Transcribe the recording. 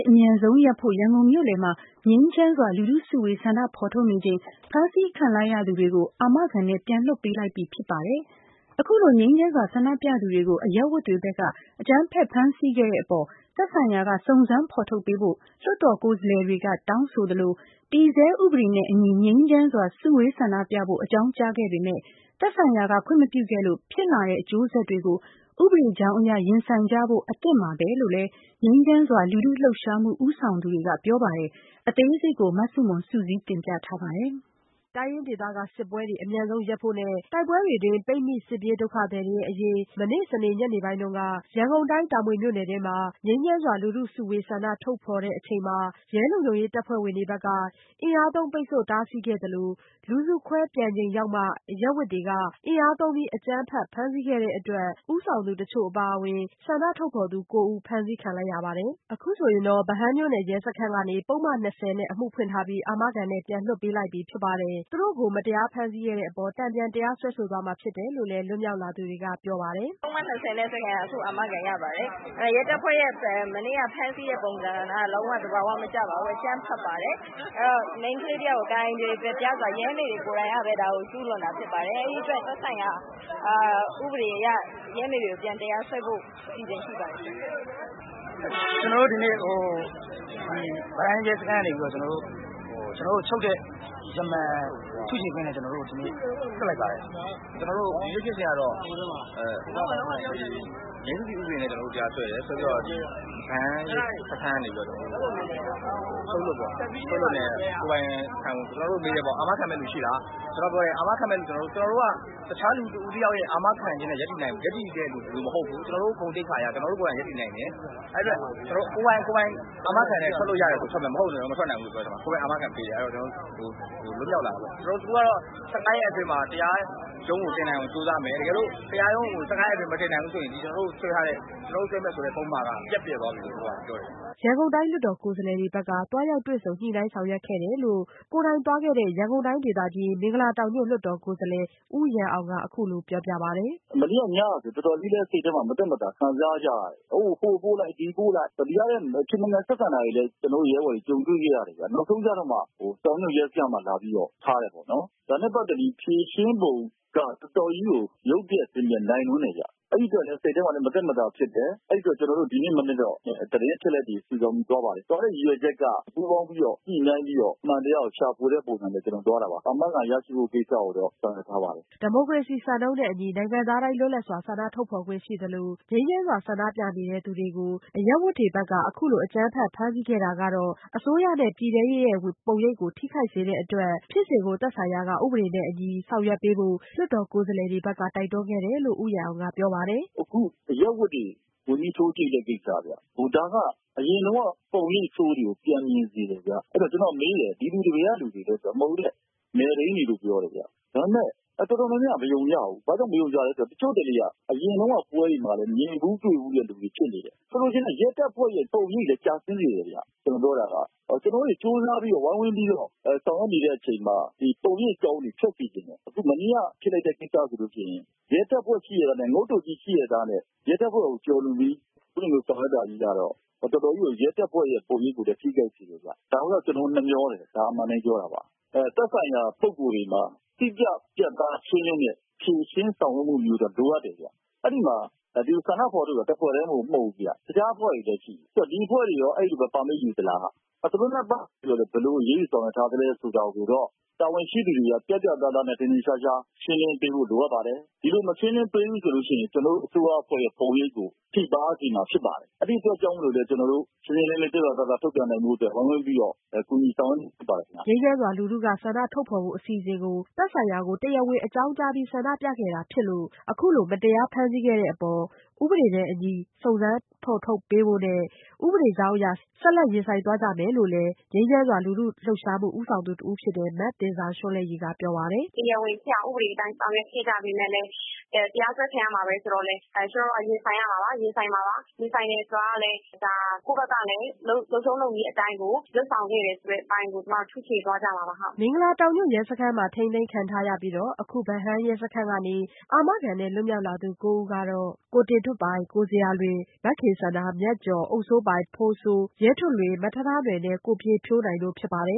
အမြန်ဆုံး ရပ်ဖို့ ရန်ကုန်မြို့လည်မှာ ငြိမ်းချမ်းစွာ လူထုစုဝေး ဆန္ဒထုတ်ဖော်နေချိန် ဖမ်းဆီးခံလိုက်ရသူတွေကို အာမခံနဲ့ ပြန်လွှတ်ပေးလိုက်ပြီဖြစ်ပါတယ်။ အခုလိုငြိမ်းချမ်းစွာဆန္ဒပြသူတွေကို အရပ်ဝတ်တွေဘက်က အကြမ်းဖက်ဖမ်းဆီးခဲ့တဲ့အပေါ် သက်ဆိုင်ရာက စုံစမ်းဖော်ထုတ်ပေးဖို့ လွှတ်တော်ကိုယ်စားလှယ်တွေက တောင်းဆိုသလို -တည်ဆဲဥပဒေနဲ့အညီ ငြိမ်းချမ်းစွာစုဝေးဆန္ဒပြဖို့ အကြောင်းကြားခဲ့ပေမဲ့ သက်ဆိုင်ရာကခွင့်မပြုခဲ့လို့ ဖြစ်လာတဲ့ အကျိုးဆက်တွေကို ဥပဒေကြောင်းအရ ရင်ဆိုင်ကြဖို့အသင့်ပါပဲလို့လည်း ငြိမ်းချမ်းစွာလူထုလှုပ်ရှားမှုဦးဆောင်သူတွေကပြောပါတယ်။ အသေးစိတ် မဆုမွန် စုစည်းတင်ပြထားပါတယ်။ တိုင်းရင်းဒေသတွေက စစ်ပွဲတွေ အမြန်ဆုံးရပ်ဖို့နဲ့ တိုက်ပွဲတွေတွင်း ပိတ်မိ စစ်ပြေးဒုက္ခသည်တွေရဲ့အရေး မနေ့စနေနေ့ညနေပိုင်းက ရန်ကုန်တိုင်း တာမွေမြို့နယ်မှာ ငြိမ်းချမ်းစွာလူထုစုဝေးဆန္ဒထုတ်ဖော်ချိန်မှာ ရဲလုံခြုံရေးတပ်ဖွဲ့တွေဘက်က အင်အားသုံးပိတ်ဆို့တားဆီးခဲ့တာရှိသလို လူစုခွဲပြန်ချိန်ရောက်မှ အရပ်ဝတ်လူတွေက အင်အားသုံး အကြမ်းဖက်ဖမ်းဆီးခဲ့တဲ့အတွက် ဦးဆောင်သူအချို့အပါအဝင် ဆန္ဒထုတ်ဖော်သူ (၉)ဦး ဖမ်းဆီးခံခဲ့ရတာဖြစ်ပါတယ်။ အခုဆိုရင်တော့ ဗဟန်းမြို့နယ် ရဲစခန်းကနေ ပုဒ်မ(၂၀)နဲ့ အမှုဖွင့်ထားပြီး အာမခံနဲ့ပြန်လွှတ်ပေးလိုက်ပြီဖြစ်ပါတယ်။ မတရားဖမ်းဆီးခဲ့တဲ့အပေါ် တန်ပြန်တရားစွဲဆိုသွားမှာဖြစ်တယ်လို့လည်း လွတ်မြောက်လာသူတွေကပြောပါတယ်။ "ပုဒ်မ(၂၀)နဲ့ အခုအာမခံရပါတယ်။ ရဲတပ်ဖွဲ့ရဲ့ မနေ့က ဖမ်းဆီးတဲ့ပုံစံက လုံးဝသဘောမကျပါဘူး အကြမ်းဖက်ပါတယ်။ မိန်းကလေးတယောက် ဣန္ဒြေပျက်ပြား စွာ ရဲမေတွေကလည်း ကျူးလွန်တာဖြစ်ပါတယ်။ အဲဒီအတွက် သက်ဆိုင်ရာ ဥပဒေတွေအရ ရဲမေတွေကို တရားစွဲဖို့ အစီအစဉ်ရှိပါတယ်။" " ကျနော်တို့ဒီနေ့ ဗဟန်းရဲစခန်းကနေပြီးတော့ ကျနော်တို့ကို ချုပ်တဲ့ ရမန်ထုချေခွင့်နဲ့ ကျနော်တို့ကို လွှတ်လိုက်တာဖြစ်ပါတယ်။ " "ကျနော်တို့ ဒီနေ့ဖြစ်စဉ်ကတော့ ငြိမ်းစုစည် ဥပဒေနဲ့ တရားစွဲတယ် စွဲပြီးတော့ ဗဟန်းရဲစခန်းကနေပြီးတော့ ချုပ်လွှတ်နဲ့ ကျနော်တို့ကိုမေးတယ်ပေါ့ အာမခံမယ့်လူရှိလား။ ကျနော်တို့က ပြောတယ် ၊ ကျနော်တို့က တခြားလူတဦးတယောက်ရဲ့ အာမခံခြင်းနဲ့ ရပ်တည်တဲ့လူမျိုးမဟုတ်ဘူး ကျနော်တို့ ဂုဏ်သိက္ခာနဲ့ ရပ်တည်နိုင်တယ် ။ အဲဒီအတွက် ကိုယ်တိုင်အာမခံနဲ့ ထွက်လို့ရရင် ထွက်မယ်။ မဟုတ်ရင် မထွက်နိုင်ဘူးလို့ပြောတယ်။ ပြီးတော့ သူတို့အာမခံပေးတယ် ကျနော်တို့ထွက်လာတယ်။ သူတို့ကတော့ ၁၅ ရက်အတွင်းမှာ တရားရုံးကိုတင်နိုင်အောင်ကြိုးစားမယ် တကယ်လို့ တရားရုံးကိုမတင်နိုင်ဘူးဆိုရင် ဒီ၁၅ ရက်အတွင်းမှာမတင်နိုင်ဘူးဆိုရင် ကျနော်တို့ဆွဲထားတဲ့ပုဒ်မ ပျက်ပျယ်သွားပြီလို့ပြောတယ်။ ရန်ကုန်တိုင်း လွှတ်တော်ကိုယ်စားလှယ်တွေဘက်က သွားရောက်တွေ့ဆုံညှိနှိုင်းဆောင်ရွက်ခဲ့တယ်လို့ ကိုယ်တိုင်သွားခဲ့တဲ့ ရန်ကုန်တိုင်းဒေသကြီး- မင်္ဂလာတောင်ညွှန့်လွှတ်တော်ကိုယ်စားလှယ်ဦးရန်အောင်က အခုလိုပြောပြပါတယ်။ "မနေ့ညကဆိုရင်တော်တော်လေးလည်း စိတ်ထဲမှာ မသက်မသာ ခံစားကြရတယ်။ ဟိုပို့လိုက် ဒီပို့လိုက် ဒီကလည်း မကျေမလည် ဆက်ဆံတာတွေကို ကျနော်တို့ ရဲဘော်တွေ ကြုံတွေ့ခဲ့ရတယ်ပေါ့နော်။ တောင်နဲ့မြောက်နဲ့ ထားတယ်ပေါ့နော်။ ဒါနဲ့ ပတ်သက်ပြီး ဖြေရှင်းပုံက တော်တော်ကြီးကို ရုပ်ပျက်ဆင်းပျက်နိုင်လွန်းတယ်။ အဲဒီအတွက် စိတ်ထဲမှာ မသက်မသာ ဖြစ်တယ်။ ကျနော်တို့ ဒီနေ့မနက်တော့ သတင်းအချက်အလက်တွေ စုဆောင်းပြီး သွားပါတယ်။ သွားတဲ့ရည်ရွယ်ချက်က ပူးပေါင်းပြီးတော့ ညှိနှိုင်းပြီးတော့ အမှန်တရားကို ရှာဖွေတဲ့ပုံစံသွားတာပါ။ အာမခံရရှိဖို့ကိုတော့ ဆောင်ရွက်ထားပါတယ်။" ဒီမိုကရေစီစံနှုန်းနဲ့အညီ နိုင်ငံသားတိုင်း လွတ်လပ်စွာဆန္ဒထုတ်ဖော်ခွင့်ရှိသလို ငြိမ်းချမ်းစွာဆန္ဒပြနေသူတွေကို အရပ်ဝတ်တွေဘက်က အခုလို အကြမ်းဖက်ဖမ်းဆီးခဲ့တာကတော့ အစိုးရနဲ့ ပြည်ထဲရေးရဲ့ပုံရိပ်ကို ထိခိုက်စေတဲ့အတွက် ဖြစ်စဉ်ကို သက်ဆိုင်ရာက ဥပဒေနဲ့အညီ ဆောင်ရွက်ပေးဖို့ လွှတ်တော်ကိုယ်စားလှယ်တွေဘက်က တိုက်တွန်းခဲ့တယ်လို့ လွှတ်တော်ကိုယ်စားလှယ် ဦးရန်အောင်က အခုလိုပြောပါတယ်။ "အခုအရပ်ဝတ်တွေဝင်ပြီး ထိုးကြိတ်တဲ့ကိစ္စက အရင်တုန်းက ပုံရိပ်ဆိုးတွေကိုပြန်မြင်စေတယ်။ ဆိုတော့ ကျနော်မေးတယ် ဒီလူတွေ ဘက်ကလူတွေလည်းဆိုတော့ နယ်ထိန်းတွေလို့ပြောတယ်။ တော်တော်များများက မယုံကြဘူး ၊ ဘာဖြစ်လို့လဲဆိုတော့ တချို့က အရင်တုန်းက ပွဲတွေမှာလည်း မြင်ဖူးတွေ့ဖူးတဲ့လူတွေဖြစ်နေတယ်။ ဆိုလိုချင်တာက ရဲတွေရဲ့ ပုံရိပ်တွေလည်း ကျဆင်းစေတယ်ခင်ဗျ။ ကျနော်တို့တွေ ကြိုးစားပြီးတော့ ဝိုင်းဝန်းပြီးတော့ ဆောင်ရွက်နေတဲ့အချိန်မှာ ဒီလို ပုံရိပ်ကောင်းတွေထွက်စေချင်တယ်။ မနေ့က ဖြစ်လိုက်တဲ့ ကိစ္စဆိုရင် ရဲတပ်ဖွဲ့ရှိရဲ့သားနဲ့ ရဲတပ်ဖွဲ့ကို ကျော်လွန်ပြီးတော့ ဆောင်ရွက်တာကတော့ တော်တော်ကြီး ရဲတပ်ဖွဲ့ ပုံရိပ်ကို ထိခိုက်စေတယ်။ ဒါကိုတော့ ကျနော်တို့ နှမြောတယ် အမှန်အတိုင်းပြောတာပါ။ သက်ဆိုင်ရာ ပုဂ္ဂိုလ်တွေမှာ တိကျ ပြတ်သားရှင်းလင်းတဲ့ ဖြေရှင်းဆောင်ရွက်မှုမျိုးတော့လိုအပ်တယ်ခင်ဗျ။ အဲဒီမှာ ဆန္ဒဖော်ထုတ်တာ တဖွဲ့တည်းမဟုတ်ဘူး တခြားအဖွဲ့တွေလည်းရှိတယ်။ ဒီအဖွဲ့တွေရော အဲဒီလို ပါမစ်ယူသလား သူတို့နဲ့ ဘယ်လိုအရေးယူဆောင်ရွက်ထားသလဲဆိုတာကိုတော့ တာဝန်ရှိသူတွေက ပြတ်ပြတ်သားသား ထင်ထင်ရှားရှား ရှင်းလင်းပေးဖို့ လိုအပ်ပါတယ်။ ဒီလိုမရှင်းဘူးဆိုရင် ကျနော်တို့အစိုးရအဖွဲ့ပုံရိပ်ကို ထိခိုက်စေမှာဖြစ်ပါတယ်။ အဲဒီအတွက်ကြောင့် ကျနော်တို့ ရှင်းရှင်းလင်းလင်း ပြတ်ပြတ်သားသားဖြစ်ဖို့အတိုက် ဝိုင်းဝန်းပြီးတော့ ကူညီဆောင်ရွက်နေတာဖြစ်ပါတယ်။" ငြိမ်းချမ်းစွာလူထုက ဆန္ဒထုတ်ဖော်ဖို့အစီစဉ်ကို သက်ဆိုင်ရာကို တရားဝင်အကြောင်းကြားပြီး ဆန္ဒပြခဲ့ကြတာဖြစ်လို့ အခုလို မတရားဖမ်းဆီးခဲ့တဲ့အပေါ် တရားဥပဒေနဲ့အညီစုံစမ်းဖော်ထုတ်ပေးဖို့နဲ့ ဥပဒေကြောင်းအရ ဆက်လက်ရင်ဆိုင်သွားကြမယ်လို့လည်း ငြိမ်းချမ်းစွာလူထုလှုပ်ရှားမှုဦးဆောင်သူတဦးဖြစ်တဲ့ သဉ္ဇာရွန်းလဲ့ရည် က ပြောပါတယ်။ "တရားဝင်ဖြစ်အောင် ဥပဒေအတိုင်း ဆောင်ရွက်ခဲ့ကြပေမယ့်လည်း တရားစွဲခံရမယ်ဆိုတော့ ကျမတို့က ရင်ဆိုင်ရမှာပါ ၊ ရင်ဆိုင်မှာပါ။ ရင်ဆိုင်တယ်ဆိုတာကလည်း ကိုယ့်ဘက်ကလည်း လုပ်ထုံးလုပ်နည်းအတိုင်းကို လုပ်ဆောင်ခဲ့တယ်ဆိုတာကို ထုချေသွားမှာပါ" မင်္ဂလာတောင်ညွှန့်ရဲစခန်းမှ ထိန်းသိမ်းခံထားရပြီး အခု ဗဟန်းရဲစခန်းကနေ အာမခံနဲ့ လွတ်မြောက်လာသူကိုးဦးကတော့ တင်ထွဋ်ပိုင် ၊ ဇေယျာလွင်၊ ခင်စန္ဒာ၊ မြတ်ကျော်၊ အုပ်စိုးပိုင်၊ ကိုဖိုးစိုး၊ ရဲထွဋ်လွင်၊ ထားထားနွယ်နဲ့ ပြည့်ဖြိုးနိုင်တို့ဖြစ်ပါတယ